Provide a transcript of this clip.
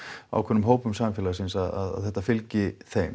ákveðnum hópum samfélagsins að þetta fylgi þeim